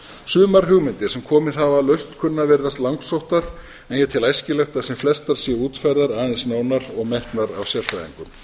sumar hugmyndir sem komið hafa að lausn kunna að virðast langsóttar en ég tel æskilegt að sem flestar séu útfærðar aðeins nánar og metnar af sérfræðingum